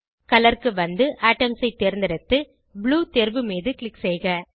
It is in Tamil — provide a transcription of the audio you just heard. கலர் க்கு வந்து ஏட்டம்ஸ் ஐ தேர்ந்தெடுத்து ப்ளூ தேர்வு மீது க்ளிக் செய்க